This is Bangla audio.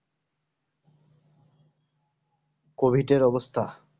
COVID এর অবস্থা